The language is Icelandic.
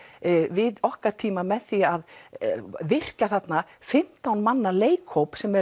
við okkar tíma með því að virkja þarna fimmtán manna leikhóp sem